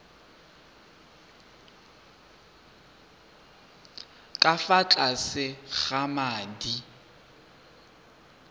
ka fa tlase ga madi